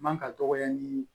Man ka dɔgɔya ni